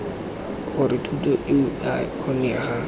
gore thuto eo ea kgonega